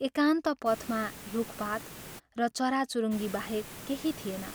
एकान्त पथमा रूखपात र चराचुरुङ्गी बाहेक केही थिएन।